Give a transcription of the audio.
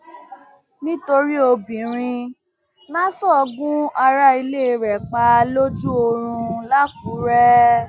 nítorí obìnrin naso gun ará ilé rẹ pa lójú oorun làkùrẹ